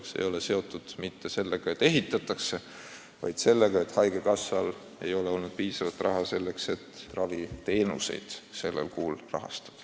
See ei ole seotud mitte sellega, et ehitatakse, vaid sellega, et haigekassal ei ole olnud piisavalt raha, et raviteenuseid sellel kuul kinni maksta.